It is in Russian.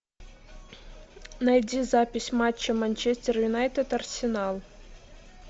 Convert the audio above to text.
найди запись матча манчестер юнайтед арсенал